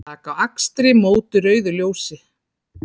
Taka á akstri móti rauðu ljósi